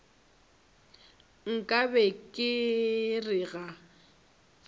nka be ke re ga